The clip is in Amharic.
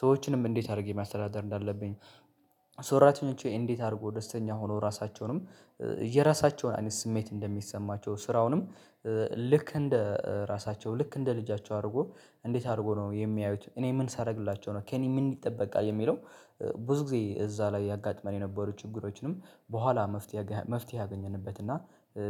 ሰዎችንም እንዴት አድርጌ ማስተዳደር እንዳለብኝ ሰራተኞቼ እንዴት አድርጎ ደስተኛ ሆኖ ራሳቸውንም የራሳቸውን አይነት ስሜት እንደሚሰማቸው ስራውንም ልክ እንደ ራሳቸው ልክ እንደ ልጃቸው አድርጎ እንዴት አድርጎ ነው የሚያዩት እኔ ምን ሳደርግላቸው ነው ከእኔ ምን ይጠበቃል የሚለው ብዙ ጊዜ እዛ ላይ ያጋጥመን የነበሩ ችግሮችንም በኋላ መፍትሄ መፍትሄ አገኘንበት እና